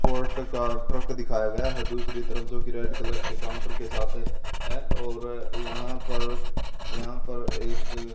का ट्रक दिखाया गया है दूसरी तरफ जो की रेड कलर के काउंटर के साथ है और यहां पर यहां पर एक --